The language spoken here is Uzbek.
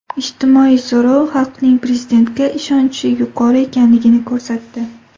Ijtimoiy so‘rov xalqning Prezidentga ishonchi yuqori ekanini ko‘rsatdi.